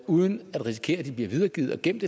uden at risikere at de bliver videregivet og gemt